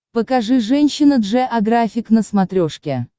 покажи женщина джеографик на смотрешке